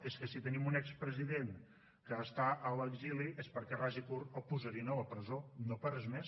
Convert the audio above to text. és que si tenim un expresident que està a l’exili és perquè ras i curt el posarien a la presó no per res més